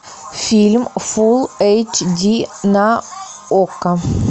фильм фулл эйч ди на окко